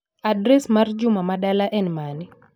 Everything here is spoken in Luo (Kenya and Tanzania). Adres mar Juma ma dala en mane.